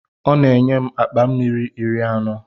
Ọ na-enye m akpa mmiri iri anọ.